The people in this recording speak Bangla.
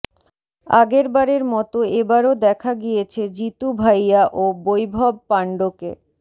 আগেরবারে মতো এবারও দেখা গিয়েছে জিতু ভাইয়া ও বৈভব পাণ্ডকে